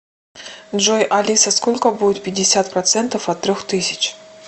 джой алиса сколько будет пятьдесят процентов от трех тысяч